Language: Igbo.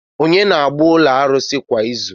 Kedu onye na-aga ụlọ arụsị kwa izu?